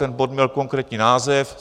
Ten bod měl konkrétní název.